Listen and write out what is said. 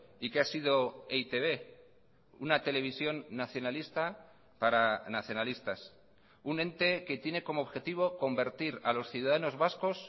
y qué ha sido e i te be una televisión nacionalista para nacionalistas un ente que tiene como objetivo convertir a los ciudadanos vascos